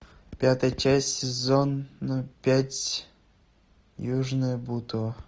пятая часть сезон пять южное бутово